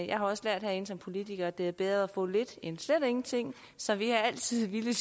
jeg har også lært herinde som politiker at det er bedre at få lidt end slet ingenting så vi er altid villige